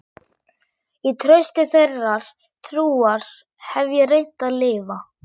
Í trausti þeirrar trúar hef ég reynt að lifa.